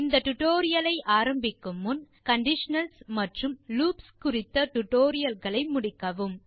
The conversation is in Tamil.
இந்த டியூட்டோரியல் ஐ ஆரம்பிக்கும் முன் கண்டிஷனல்ஸ் மற்றும் லூப்ஸ் டுடோரியல்களை முடிக்கவும்